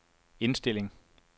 indstilling